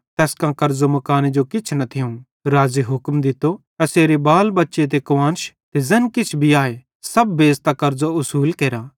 तैस कां कर्ज़ो मुकाने जो किछ न थियूं राज़े हुक्म दित्तो एसेरे बाल बच्चे ते कुआन्श ते ज़ैन किछ भी आए सब बेच़तां कर्ज़ो उसुल केरा